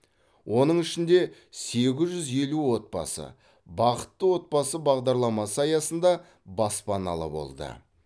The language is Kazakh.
оның ішінде сегіз жүз елу отбасы бақытты отбасы бағдарламасы аясында баспаналы болды